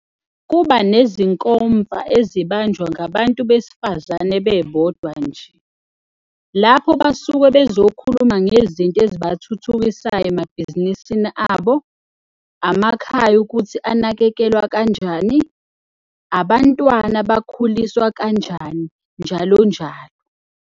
Kuba nezinkomfa ezibanjwa ngabantu besifazane bebodwa nje, lapha basuke bezokhuluma ngezinto ezibathuthukisayo emabhizinisini abo, amakhaya ukuthi anakekelwa kanjani, abantwana bakhuliswa kanjani njalo njalo.